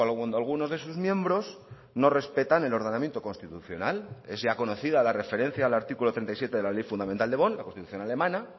cuando algunos de sus miembros no respetan el ordenamiento constitucional es ya conocida la referencia al artículo treinta y siete de la ley fundamental de bonn la constitución alemana